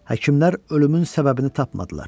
Həkimlər ölümün səbəbini tapmadılar.